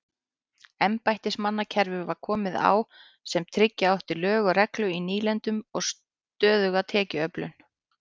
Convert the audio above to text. Embættismannakerfi var komið á sem tryggja átti lög og reglu í nýlendunum og stöðuga tekjuöflun.